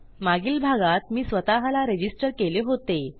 मागील भागात मी स्वतःला रजिस्टर केले होते